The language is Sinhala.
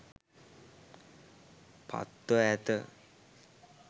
පත්ව ඇත.